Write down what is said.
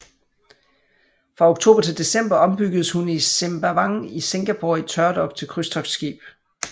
Fra oktober til december ombyggedes hun i Sembawang i Singapore i tørdok til krydstogtskib